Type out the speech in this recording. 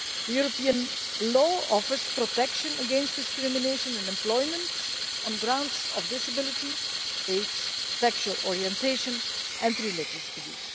European law offers protection against discrimination in employment on the grounds of disability, age, sexual orientation and religious belief.